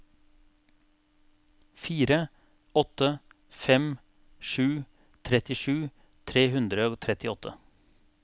fire åtte fem sju trettisju tre hundre og trettiåtte